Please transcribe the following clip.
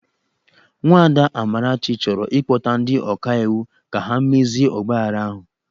Nwada Amarachi chọrọ ịkpọta ndi ọkaiwu ka ha mezie ọgbaaghara ahụ.